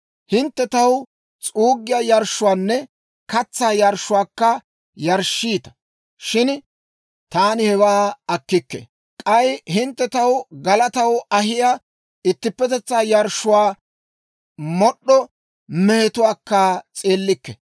Hintte taw s'uuggiyaa yarshshuwaanne katsaa yarshshuwaakka yarshshiita; shin taani hewaa akkikke. K'ay hintte taw galataw ahiyaa ittippetetsaa yarshshuwaa mod'd'o mehetuwaakka s'eellikke.